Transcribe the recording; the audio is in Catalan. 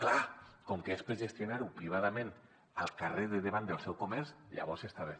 clar com que és per gestionar ho privadament al carrer de davant del seu comerç llavors està bé